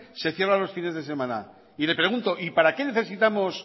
se cierra los fines de semana y le pregunto para qué necesitamos